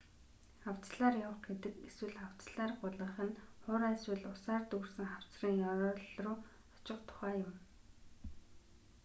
хавцлаар явах гэдэг эсвэл: хавцлаар гулгах нь хуурай эсвэл усаар дүүрсэн хавцлын ёроол руу очих тухай юм